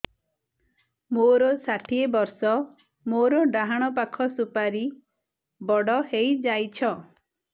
ମୋର ଷାଠିଏ ବର୍ଷ ମୋର ଡାହାଣ ପାଖ ସୁପାରୀ ବଡ ହୈ ଯାଇଛ